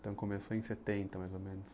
Então começou em setenta, mais ou menos.